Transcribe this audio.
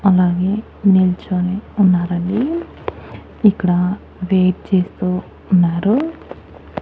అలాగే నిల్చొని ఉన్నారండి ఇక్కడ వెయిట్ చేస్తూ ఉన్నారు.